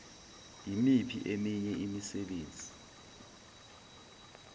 yimiphi eminye imisebenzi